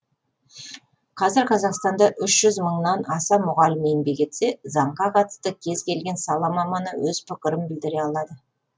қазір қазақстанда үш жүз мыңнан аса мұғалім еңбек етсе заңға қатысты кез келген сала маманы өз пікірін білдіре алады